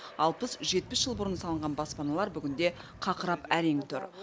алпыс жетпіс жыл бұрын салынған баспаналар бүгінде қақырап әрең тұр